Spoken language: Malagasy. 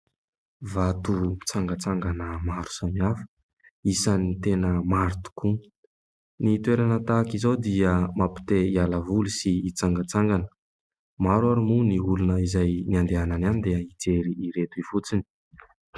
Vato mitsangantsangana maro samihafa, isan'ny tena maro tokoa ny toerana tahaka izao dia mampite-hialavoly sy hitsangatsangana ; maro ary moa ny olona izay ny andehananany any dia hijery ireto fotsiny.